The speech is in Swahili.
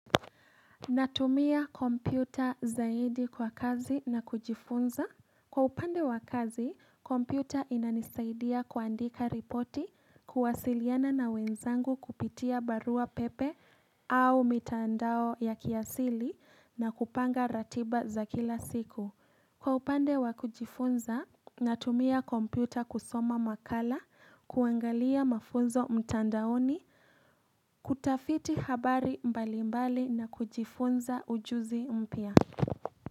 Natumia kompyuta zaidi kwa kazi na kujifunza. Kwa upande wa kazi, kompyuta inanisaidia kuandika ripoti, kuwasiliana na wenzangu kupitia barua pepe au mitandao ya kiasili na kupanga ratiba za kila siku. Kwa upande wa kujifunza, natumia kompyuta kusoma makala, kuangalia mafunzo mtandaoni, kutafiti habari mbali mbali na kujifunza ujuzi mpya.